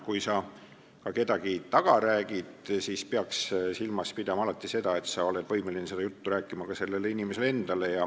Kui sa ka kedagi taga räägid, siis pead silmas pidama alati seda, et sa oleks võimeline seda juttu rääkima ka sellele inimesele endale.